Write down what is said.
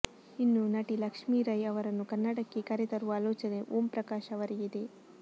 ಇನ್ನು ನಟಿ ಲಕ್ಷ್ಮಿ ರೈ ಅವರನ್ನು ಕನ್ನಡಕ್ಕೆ ಕರೆ ತರುವ ಆಲೋಚನೆ ಓಂ ಪ್ರಕಾಶ್ ಅವರಿಗಿದೆ